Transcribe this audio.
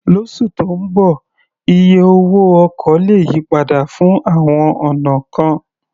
Lósù tó ń bọ̀, iye owó ọkọ̀ lè yí padà fún àwọn ọ̀nà kan.